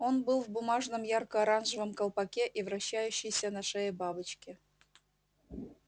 он был в бумажном ярко-оранжевом колпаке и вращающейся на шее бабочке